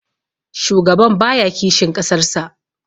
shugaban baya kishin ƙasarsa